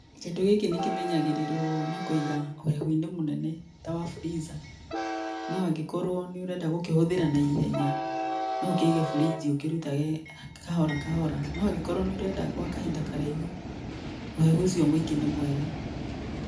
Kĩndũ gĩkĩ nĩ kĩmenyagĩrĩrwo na kũiga ũhehu-inĩ mũnene ta wa freezer no angĩkorwo nĩ ũrenda gũkĩhũthĩra na ihenya no ũkĩige fridge ũkĩrutage kahora kahora no angĩkorwo nĩũrenda gwa kahinda karaihu ũhehu ũcio mũingĩ nĩ mwega.